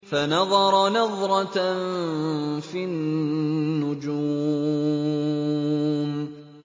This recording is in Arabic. فَنَظَرَ نَظْرَةً فِي النُّجُومِ